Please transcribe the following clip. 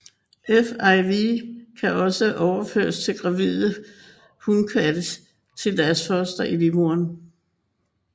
FIV kan også overføres fra gravide hunkatte til deres fostre i livmoderen